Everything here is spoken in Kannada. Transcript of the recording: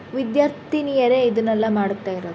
ವಿದ್ಯಾರ್ಥಿನಿಯರೇ ಇದುನ್ನೆಲ್ಲ ಮಾಡ್ತಾ ಇರೋದು--